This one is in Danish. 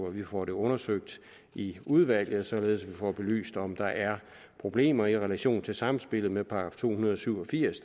vi får det undersøgt i udvalget så vi får belyst om der er problemer i relation til samspillet med § to hundrede og syv og firs